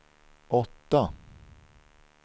åtta